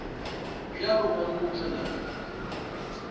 bjalo ba no tšwela pele